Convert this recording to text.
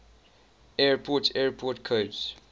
airport airport codes